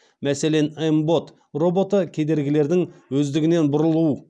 мәселен мбот роботы кедергілердің өздігінен бұрылу